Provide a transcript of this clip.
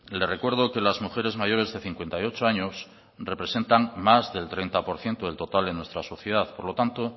le recuerdo que las mujeres mayores de cincuenta y ocho años representan más del treinta por ciento del total de nuestra sociedad por lo tanto